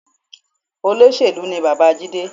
Olóṣèlú ni bàbá Jide